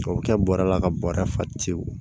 O bɛ kɛ bɔrɛ la ka bɔrɛ fa tewu